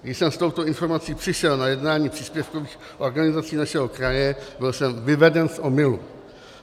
Když jsem s touto informací přišel na jednání příspěvkových organizací našeho kraje, byl jsem vyveden z omylu.